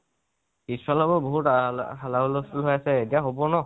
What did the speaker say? পিছ ফালৰ পৰা বাহুত হাল্লা হুলস্থূল হৈ আছে, এতিয়া হব ন?